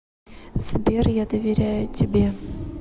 сбер я доверяю тебе